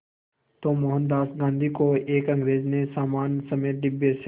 तो मोहनदास गांधी को एक अंग्रेज़ ने सामान समेत डिब्बे से